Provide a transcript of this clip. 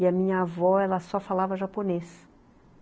E a minha avó, ela só falava japonês.